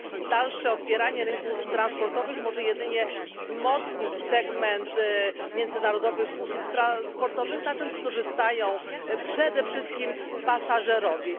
Dalsze otwieranie rynków transportowych może jedynie wzmocnić segment międzynarodowych usług transportowych, na czym skorzystają przede wszystkim pasażerowie.